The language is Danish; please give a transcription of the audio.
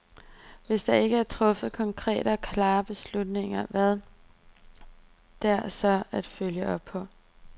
Hvis der ikke er truffet konkrete og klare beslutninger, hvad er der så at følge op på.